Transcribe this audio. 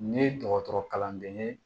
Ne ye dɔgɔtɔrɔ kalanden ye